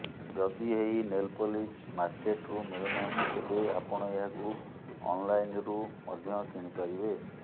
ଯଦି ଏହି nail polish ମାର୍କେଟ୍ରୁ ମିଳୁନାହିଁ ତେବେ ଆପଣ ଏହାକୁ ଅନଲାଇନ୍ରୁ ମଧ୍ୟ କିଣି ପାରିବେ